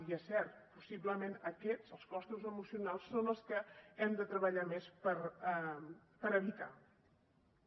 i és cert possiblement aquests els costos emocionals són els que hem de treballar més per evitar los